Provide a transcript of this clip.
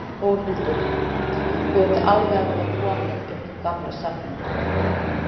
Þórhildur: Þú ert alveg að verða kominn upp í gamla safnið?